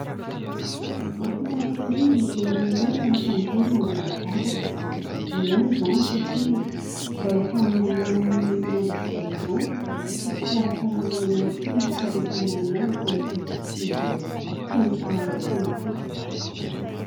Mahafinaritra ery ny mijery ny olona mitangorina andeha hivavaka. Ilaina izany satria mba ho fanomananao ny ho mandrakizay anao sy fikarakaranao ihany koa ny fiainam-panahinao eto amin'ity izao tontolo izao feno faharatsiana ity.